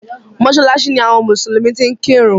Mọ́ṣáláṣí ni àwọn mùsùlùmí ti ń kẹ́run.